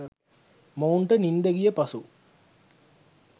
මොවුන්ට නින්ද ගිය පසු